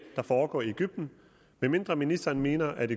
der foregår i egypten medmindre ministeren mener at